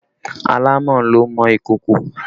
Àlámọ̀ ló ń mọ ìkòkò